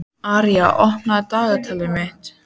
Arja, opnaðu dagatalið mitt.